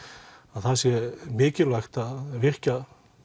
það sé mikilvægt að virkja